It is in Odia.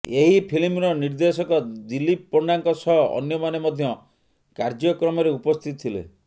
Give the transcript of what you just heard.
ଏହି ଫିଲ୍ମର ନିର୍ଦ୍ଦେଶକ ଦିଲୀପ ପଣ୍ଡାଙ୍କ ସହ ଅନ୍ୟମାନେ ମଧ୍ୟ କାର୍ଯ୍ୟକ୍ରମରେ ଉପସ୍ଥିତ ଥିଲେ